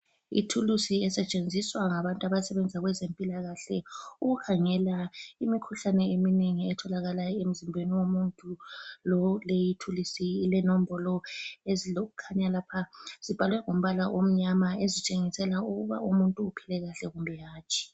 Ithulusi esetshenziswa ngabantu abasebenza kwezempilakahle ,ukukhangela imikhuhlane eminengi etholakala emzimbeni womuntu. Le thulusi ile nombolo ezilokukhanya lapha ezibhalwe ngombala omnyama ezitshengisela ukuba umuntu uphila kahle kumbe hatshi.